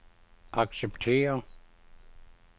acceptere